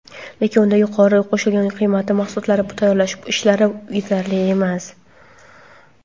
Lekin undan yuqori qo‘shilgan qiymatli mahsulotlar tayyorlash ishlari yetarli emas.